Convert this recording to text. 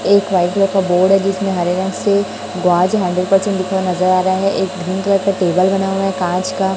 एक कलर का बोर्ड है जिसमें हरे रंग से बॉयज हंड्रेड परसेंट लिखा नजर आ रहा है एक क्रीम कलर का टेबल बना हुआ है कांच का--